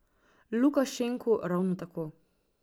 Lukašenku ravno tako.